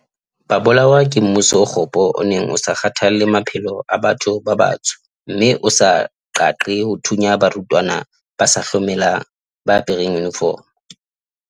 Ba bolawa ke mmuso o kgopo o neng o sa kgathalle maphelo a batho ba batsho mme o sa qeaqee ho thunya barutwana ba sa hlomelang ba apereng yunifomo.